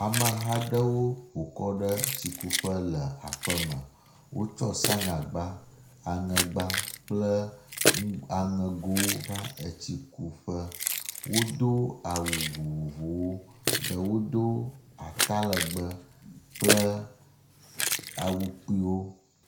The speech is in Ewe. amehaɖewo ƒokɔ ɖe tsi kuƒe le aƒeme wótsɔ sanyagba aŋegba kple aŋegowo va etsikuƒe wodó awu vovovowo ɖewo dó atalegbe kple awu kpuiwo